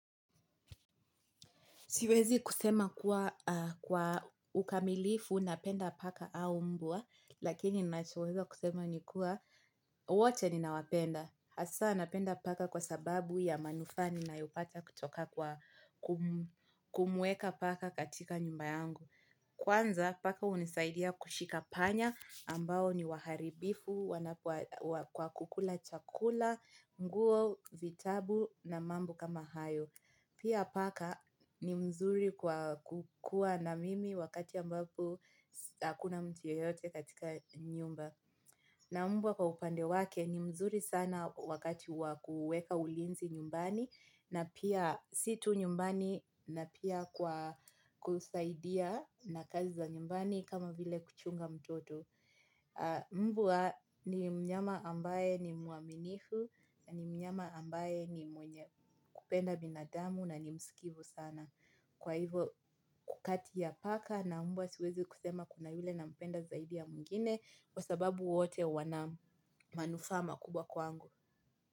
Siwezi kusema kuwa ukamilifu napenda paka au mbwa lakini nachoweza kusema ni kuwa wote ninawapenda. Hasa napenda paka kwa sababu ya manufaa ninayopata kutoka kwa kumuweka paka katika nyumbayangu. Kwanza paka unisaidia kushika panya ambao ni waharibifu kwa kukula chakula, mguo, vitabu na mambo kama hayo. Pia paka ni mzuri kukua na mimi wakati ambapo hakuna mtu yeyote katika nyumba. Na mbwa kwa upande wake ni mzuri sana wakati wa kuweka ulinzi nyumbani na pia si tu nyumbani na pia kusaidia na kazi za nyumbani kama vile kuchunga mtoto. Mbwa ni mnyama ambaye ni muaminifu. Ni mnyama ambaye ni mwenye kupenda binadamu na ni msikivu sana. Kwa hivo kati ya paka na mbwa siwezi kusema kuna yule nampenda zaidi ya mwingine. Kwa sababu wote wana manufaa makubwa kwangu.